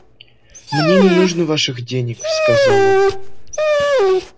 мне не нужно ваших денег сказал он